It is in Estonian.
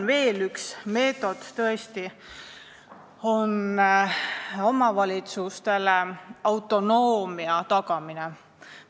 Üks meetod on tõesti veel autonoomia tagamine omavalitsustele.